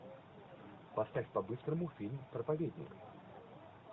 поставь по быстрому фильм проповедник